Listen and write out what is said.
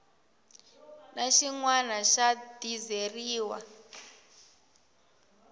na xin wana xa dizeriwa